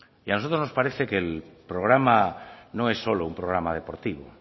y a nosotros nos parece que el programa no es solo un programa deportivo